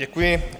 Děkuji.